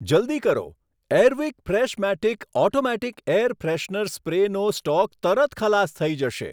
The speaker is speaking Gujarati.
જલદી કરો, Airwick Freshmatic automatic air freshener સ્પ્રેનો સ્ટોક તરત ખલાસ થઈ જશે.